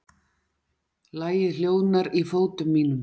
Lagið hljóðnar í fótum mínum.